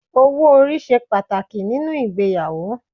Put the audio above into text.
Owó orí ṣe pàtàkì nínú ìgbéyàwó.